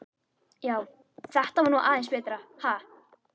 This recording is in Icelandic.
Já, þetta var nú aðeins betra, ha!